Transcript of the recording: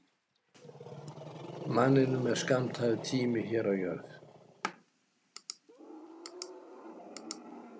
Manninum er skammtaður tími hér á jörð.